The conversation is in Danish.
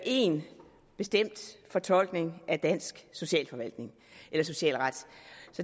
en bestemt fortolkning af dansk socialret